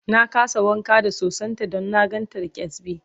na kasa wanka da sosan ta Dan na gan ta da kyasbi